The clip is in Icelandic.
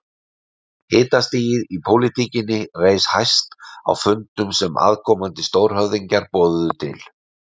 Hitastigið í pólitíkinni reis hæst á fundum sem aðkomandi stórhöfðingjar boðuðu til.